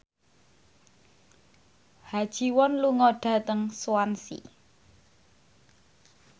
Ha Ji Won lunga dhateng Swansea